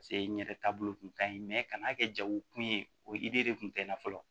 n ɲɛrɛ taabolo kun ka ɲi ka n'a kɛ jago kun ye o de kun tɛ n na fɔlɔ